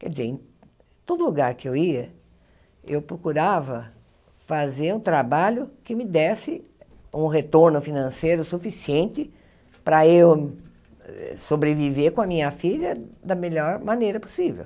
Quer dizer, em todo lugar que eu ia, eu procurava fazer um trabalho que me desse um retorno financeiro suficiente para eu sobreviver com a minha filha da melhor maneira possível.